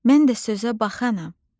Mən də sözə baxanam.